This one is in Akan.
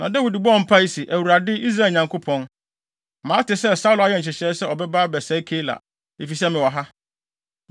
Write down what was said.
Na Dawid bɔɔ mpae se, “ Awurade, Israel Nyankopɔn, mate sɛ Saulo ayɛ nhyehyɛe sɛ ɔbɛba abɛsɛe Keila, efisɛ mewɔ ha.